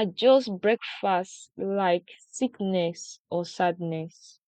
adjust breakfast like sickness or sadness